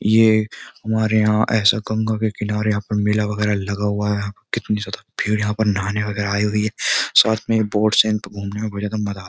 ये हमारे यहाँ ऐसा गंगा के किनारे यहां पर मेला वगैरह लगा हुआ है कितनी ज्यादा भीड़ यहाँ पर नहाने वगैरह आई हुई है साथ में बोट्स हैं तो घूमने में बहुत ज्यादा मजा --